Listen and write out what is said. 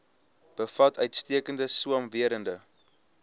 bevat uitstekende swamwerende